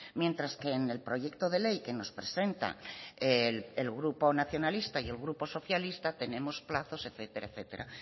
mientras que en el proyecto de ley que nos presenta el grupo nacionalista y el grupo socialista tenemos plazos etcétera etcétera